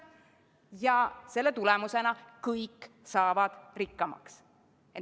Ja selle tulemusena saavad kõik rikkamaks.